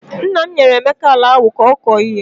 Nna m nyere Emeka ala ahụ ka ọ kọọ ihe.